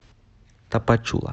тапачула